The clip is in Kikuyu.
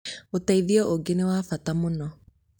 ũteithio ũngĩ nĩwabata mũno